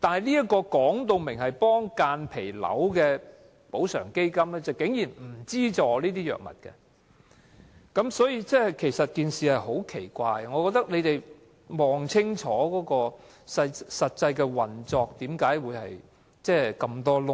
這個訂明幫助間皮瘤病人的補償基金不提供相關藥物資助，實在十分奇怪，我認為當局應清楚了解基金的實際運作為何諸多漏洞。